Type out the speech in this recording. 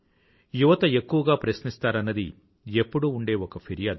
యువత ఎక్కువగా ప్రశ్నిస్తారన్నది ఎప్పుడూ ఉండే ఒక ఫిర్యాదు